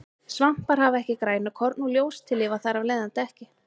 Svampar hafa ekki grænukorn og ljóstillífa þar af leiðandi ekki.